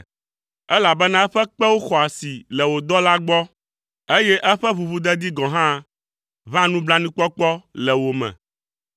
Elabena eƒe kpewo xɔ asi le wò dɔlawo gbɔ, eye eƒe ʋuʋudedi gɔ̃ hã ʋãa nublanuikpɔkpɔ le wo me.